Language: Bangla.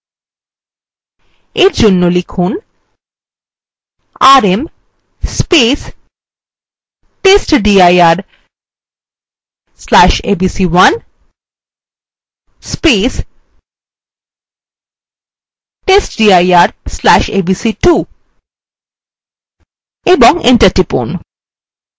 এই জন্য লিখুন rm testdir/abc1 testdir/abc2 এবং enter টিপুন